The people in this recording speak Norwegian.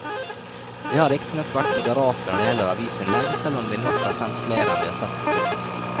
Vi har riktignok vært moderate når det gjelder avisinnlegg, selv om vi nok har sendt flere enn vi har sett på trykk.